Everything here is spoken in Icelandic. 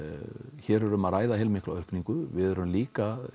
hér er um að ræða heilmikla aukningu við erum líka